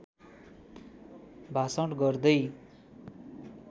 भाषण गर्दै